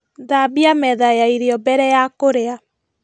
Thambia metha ya irio mbere ya kũrĩa